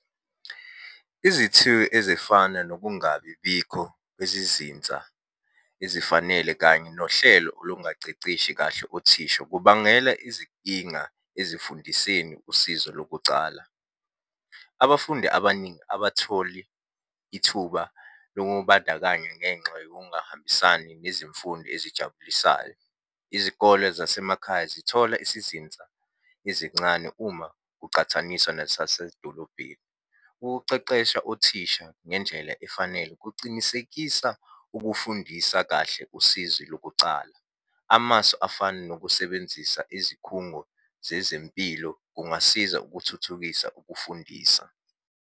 Izithiyo ezifana nokungabi bikho kwezizinsa ezifanele kanye nohlelo olungaceceshi kahle othisha, kubangela izinkinga ezifundiseni usizo lokucala. Abafundi abaningi abatholi ithuba lokubandakanya ngenxa yokungahambisani nezimfundo esijabulisayo. Izikole zasemakhaya zithola isizinsa ezincane uma kucathaniswa nesasedolobheni. Ukuceqesha othisha ngendlela efanele kucinisekisa ukufundisa kahle usizi lokucala. Amasu afana nokusebenzisa izikhungo zezempilo kungasiza ukuthuthukisa ukufundisa.